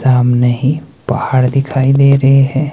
सामने ही पहाड़ दिखाई दे रहे है।